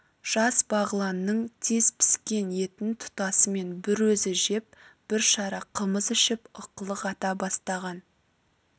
жас бағланның тез піскен етін тұтасымен бір өзі жеп бір шара қымыз ішіп ықылық ата бастаған